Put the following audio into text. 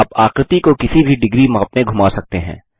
आप आकृति को किसी भी डिग्री माप में घुमा सकते हैं